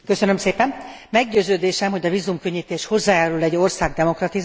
Meggyőződésem, hogy a vízumkönnyítés hozzájárul egy ország demokratizálásához.